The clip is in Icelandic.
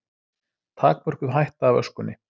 Takmörkuð hætta af öskunni